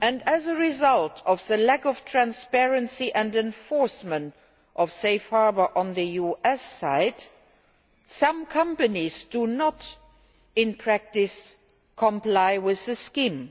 As a result of the lack of transparency and enforcement of Safe Harbour on the US side, some companies do not, in practice, comply with the scheme.